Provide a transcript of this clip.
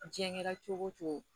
Diɲɛla cogo o cogo